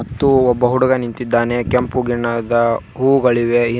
ಮತ್ತು ಒಬ್ಬ ಹುಡುಗ ನಿಂತಿದ್ದಾನೆ ಕೆಂಪು ಗೆಣ್ಣದ ಹೂಗಳಿವೆ--